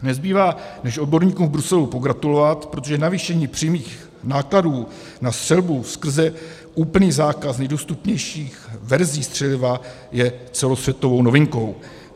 Nezbývá, než odborníkům v Bruselu pogratulovat, protože navýšení přímých nákladů na střelbu skrze úplný základ nejdostupnějších verzí střeliva je celosvětovou novinkou.